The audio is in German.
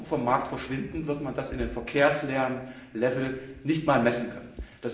Wenn sie morgen vom Markt verschwinden, wird man das im Verkehrslärmpegel nicht einmal messen können.